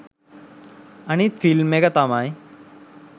අනිත් ෆිල්ම් එක තමයි